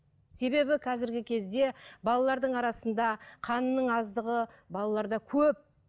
себебі қазіргі кезде балалардың арасында қанның аздығы балаларда көп